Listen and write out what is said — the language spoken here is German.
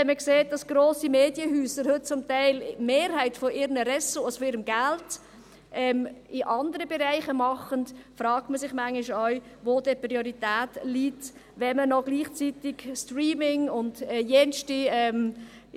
Wenn man sieht, dass grosse Medienhäuser heute zum Teil die Mehrheit ihrer Ressourcen, ihres Geldes, in anderen Bereichen machen, fragt man sich manchmal auch, wo denn die Prioritäten liegen, wenn man gleichzeitig Streaming und jene Dinge macht.